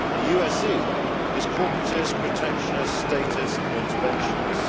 the USE is corporatist, protectionist, statist and interventionist.